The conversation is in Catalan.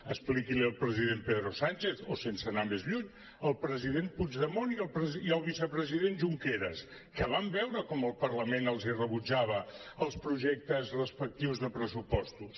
expliqui l’hi al president pedro sánchez o sense anar més lluny al president puigdemont i al vicepresident junqueras que van veure com el parlament els rebutjava els projectes respectius de pressupostos